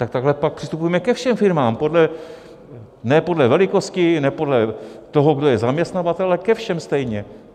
Tak takhle pak přistupujme ke všem firmám, ne podle velikosti, ne podle toho, kdo je zaměstnavatel, ale ke všem stejně.